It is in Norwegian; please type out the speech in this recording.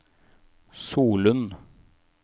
Solund